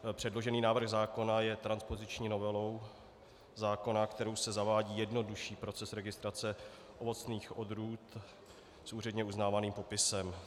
Předložený návrh zákona je transpoziční novelou zákona, kterou se zavádí jednodušší proces registrace ovocných odrůd s úředně uznávaným popisem.